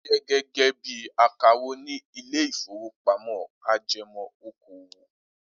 Olú ń ṣiṣẹ́ gẹ́gẹ́ bí i akawó ní ilé-ìfowópamọ́sí ajẹmọ́ okòwò.